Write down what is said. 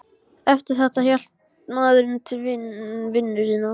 Eftir þetta hélt maðurinn til vinnu sinnar.